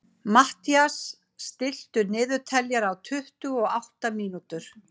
Mathías, stilltu niðurteljara á tuttugu og átta mínútur.